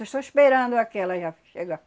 Estou só esperando aquela já chegar.